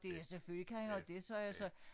Det ja selvfølgelig kan han have det sagde jeg så